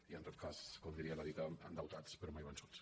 i en tot cas com diria la di·ta endeutats però mai vençuts